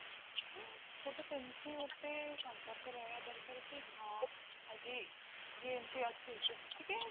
ଗୋଟେ ସେମିତି ଗୋଟେ ସମ୍ପର୍କ ରହିବା ଦରକାର କି ହଁ ଆଜି ଯେ ଏମତି ଅଛି ତ ଟିକେ